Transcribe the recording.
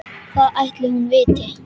Hvað ætli hún viti?